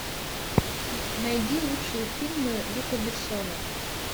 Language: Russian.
найди лучшие фильмы люка бессона